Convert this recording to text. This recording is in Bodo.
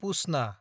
पुस्नâ